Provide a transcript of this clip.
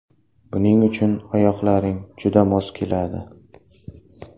Buning uchun oyoqlaring juda mos keladi”.